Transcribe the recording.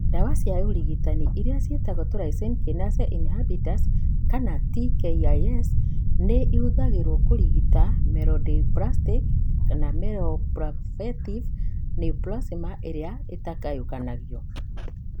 Ndawa cia ũrigitani iria ciĩtagwo tyrosine kinase inhibitors (TKIs) nĩ ihũthagĩrũo kũrigita myelodysplastic /myeloproliferative neoplasm ĩrĩa ĩtangĩgayũkanio.